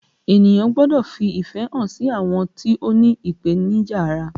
Ènìyàn gbọ́dọ̀ fi ìfẹ́ hàn sí àwọn tó ní ipenija ara